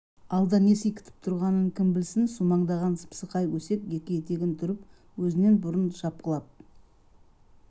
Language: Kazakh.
алда не сый күтіп тұрғанын кім білсін сумаңдаған сыпсықай өсек екі етегін түріп өзінен бұрын шапқылап